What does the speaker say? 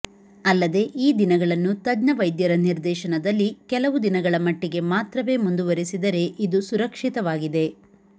ಅಲ್ಲದೇ ಈ ದಿನಗಳನ್ನು ತಜ್ಞ ವೈದ್ಯರ ನಿರ್ದೇಶನದಲ್ಲಿ ಕೆಲವು ದಿನಗಳ ಮಟ್ಟಿಗೆ ಮಾತ್ರವೇ ಮುಂದುವರೆಸಿದರೆ ಇದು ಸುರಕ್ಷಿತವಾಗಿದೆ